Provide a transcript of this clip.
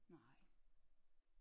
Nej